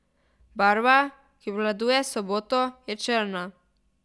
Barva, ki obvladuje soboto, je črna.